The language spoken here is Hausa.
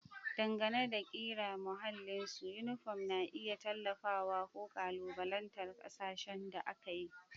Dangane da ƙira da mahallin su, yunifom na iya tallafawa ko ƙalubalantar hasashen da aka yi.